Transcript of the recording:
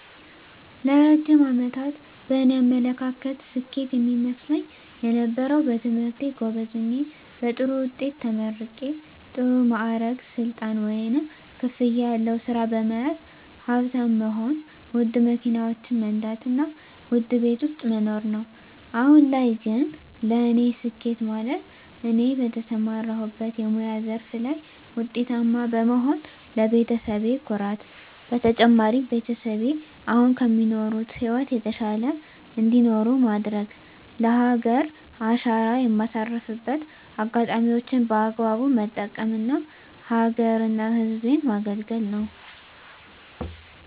ለረጅም አመታት በእኔ አመለካከት ስኬት የሚመስለኝ የነበረው በትምህርቴ ጎበዝ ሆኘ በጥሩ ወጤት ተመርቂ ጥሩ ማዕረግ ስልጣን ወይንም ክፍያ ያለው ስራ በመያዝ ሀብታም መሆን ወድ መኪናወችን መንዳት እና ወድ ቤት ውስጥ መኖሮ ነው አሁን ላይ ግን ለእኔ ስኬት ማለት እኔ በተሠማራሁበት የሙያ ዘርፍ ላይ ወጤታማ በመሆን ለቤተሰቤ ኩራት በተጨማሪም ቤተሰቤ አሁን ከሚኖሩት ህይወት የተሻለ እንዳኖሩ ማድረግ ለሀገሪ አሻራ የማሳርፍበት አጋጣሚወችን በአግባቡ መጠቀም እና ሀገረ እና ህዝቤን መገልገያ ነው።